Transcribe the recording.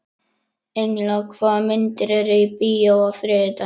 Engla, hvaða myndir eru í bíó á þriðjudaginn?